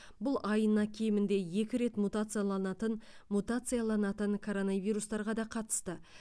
бұл айына кемінде екі рет мутацияланатын мутацияланатын коронавирустарға да қатысты